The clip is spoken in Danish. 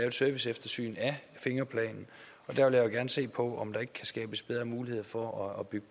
et serviceeftersyn af fingerplanen og der vil jeg da gerne se på om der ikke kan skabes bedre mulighed for at bygge